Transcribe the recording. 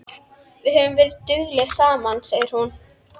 Við höfum verið duglegar saman, segir hún.